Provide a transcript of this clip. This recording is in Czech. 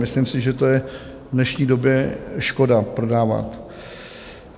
Myslím si, že to je v dnešní době škoda prodávat.